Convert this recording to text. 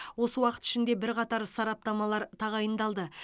осы уақыт ішінде бірқатар сараптамалар тағайындалды